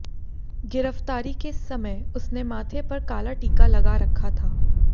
गिरफ्तारी के समय उसने माथे पर काला टीका लगा रखा था